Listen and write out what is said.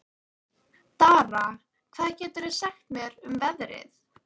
Dara, hvað geturðu sagt mér um veðrið?